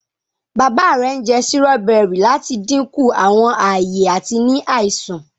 bàbá rẹ njẹ Sírọ́bẹ́rì lati dínkù Àwọn aye àti ní àìsàn.